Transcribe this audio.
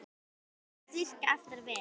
Það virðist virka afar vel.